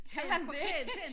Kan man det?